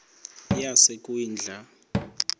yasekwindla